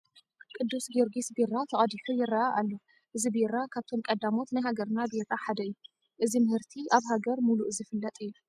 ቅዱስ ጊዮርጊስ ቢራ ተቐዲሑ ይርአ ኣሎ፡፡ እዚ ቢራ ካብቶም ቀዳሞት ናይ ሃገርና ቢራ ሓደ እዩ፡፡ እዚ ምህርቲ ኣብ ሃገር ሙሉእ ዝፍለጥ እዩ፡፡